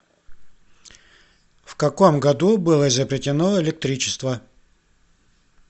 в каком году было изобретено электричество